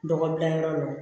Dɔgɔ dilanyɔrɔ la